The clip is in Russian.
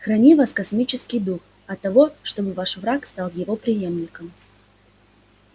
храни вас космический дух от того чтобы ваш враг стал его преемником